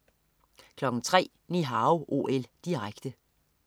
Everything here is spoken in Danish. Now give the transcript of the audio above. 03.00 Ni Hao OL, direkte